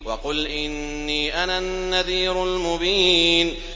وَقُلْ إِنِّي أَنَا النَّذِيرُ الْمُبِينُ